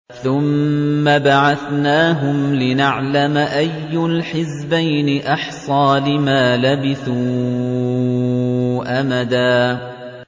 ثُمَّ بَعَثْنَاهُمْ لِنَعْلَمَ أَيُّ الْحِزْبَيْنِ أَحْصَىٰ لِمَا لَبِثُوا أَمَدًا